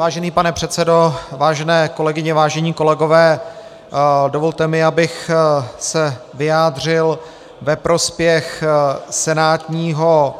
Vážený pane předsedo, vážené kolegyně, vážení kolegové, dovolte mi, abych se vyjádřil ve prospěch senátního